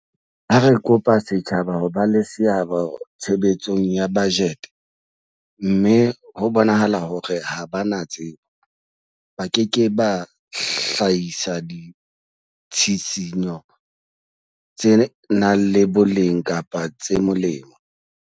Ha re kopa setjhaba ho ba le seabo tshebetsong ya bajete mme ho bonahala hore ha ba na tsebo, ba ke ke ba hlahisa ditshisinyo tse nang le boleng kapa tse molemo.